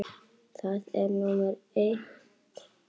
Það er númer eitt.